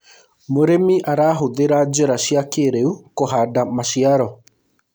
mũrĩmi arahuthira njira cia kĩiriu kuhanda maciaro